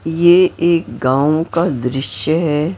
ये एक गाँव का दृश्य है।